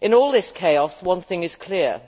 In all this chaos, one thing is clear